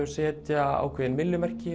setja ákveðin